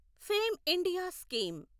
fame India scheme